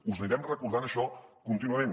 us anirem recordant això contínuament